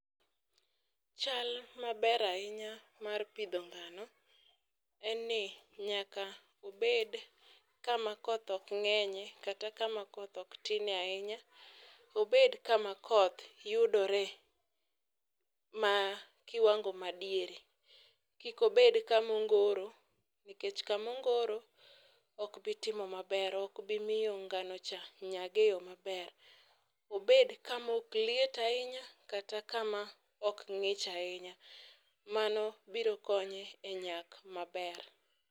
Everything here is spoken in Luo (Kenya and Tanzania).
Chal maber ahinya mar pidho ngano en ni nyaka obed kama koth ok ngenye kata kama koth ok tine ahinya, Obed kama koth yudore ma kiwango madiere, kik obed kama ongoro, nikech kama ongoro okbi timo maber, okbi miyo ngano cha nyag e yoo maber, Obed kama ok liet ahinya kata kama ok ngich ahinya, mano biro konye e nyak maber